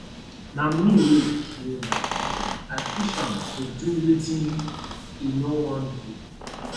na me wey kill my pikin i push am do wetin he no wan do